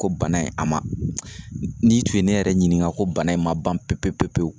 Ko bana in a ma n'i tun ye ne yɛrɛ ɲininka ko bana in ma ban pepe pepewu